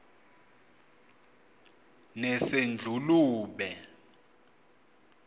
nesedlulube